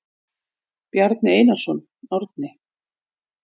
Bjarni Einarsson, Árni.